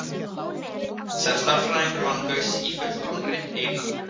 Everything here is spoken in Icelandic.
Sem stærðfræðingur vann Gauss í fullkominni einangrun.